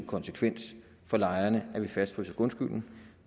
konsekvens for lejerne at vi fastfryser grundskylden